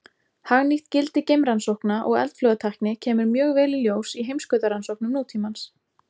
Hagnýtt gildi geimrannsókna og eldflaugatækni kemur mjög vel í ljós í heimskautarannsóknum nútímans.